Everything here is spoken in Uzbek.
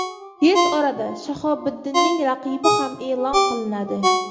Tez orada Shahobiddinning raqibi ham e’lon qilinadi.